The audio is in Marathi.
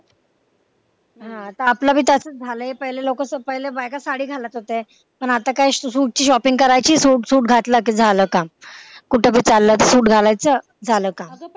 हा आता आपलं भी तसच झालय पहले लोक पहले बायका साडी घालत होते पण आता काय सुटची shopping करायची सूट सूट घातला कि झालं काम कुठं भी चाललं सूट घातला कि झालं काम